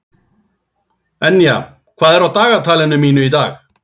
Enja, hvað er á dagatalinu mínu í dag?